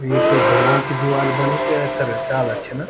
एक ढुंगाओं की दीवाल बनी च ऐथर डाला छिन।